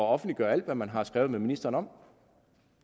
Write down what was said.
offentliggøre alt hvad man har skrevet med ministeren om